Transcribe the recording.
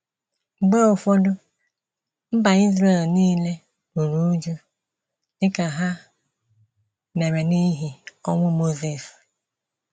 Mgbe ụfọdụ, mba Israel nile ruru újú, dị ka ha mere n’ihi ọnwụ Mosis.